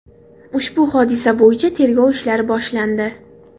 Ushbu hodisa bo‘yicha tergov ishlari boshlandi.